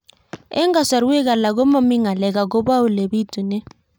Eng' kasarwek alak ko mami ng'alek akopo ole pitunee